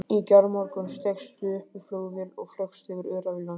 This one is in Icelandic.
Í gærmorgun steigstu upp í flugvél og flaugst yfir öræfi landsins.